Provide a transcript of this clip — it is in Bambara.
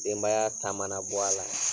Denbaya ta mana bɔ a la